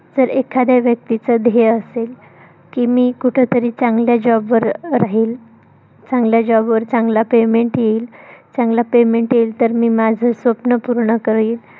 जर एखाद्या व्यक्तीच ध्येय असेल की मी कुठंतरी चांगल्या job वर राहील. चांगल्या job वर चांगला payment येईल. चांगला payment येईल तर मी माझं स्वप्न पूर्ण करील.